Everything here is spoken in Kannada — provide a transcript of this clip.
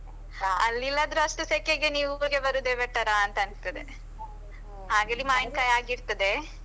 ಇಲ್ಲದ್ರು ಅಷ್ಟು ಸೆಕೆಗೆ ನೀವು ಊರಿಗೆ ಬರುದೆ better ಅಂತ ಅನಿಸ್ತದೆ, ಆಗಿಲ್ಲಿ ಮಾವಿನ್ಕಾಯಿ ಆಗಿರ್ತದೆ.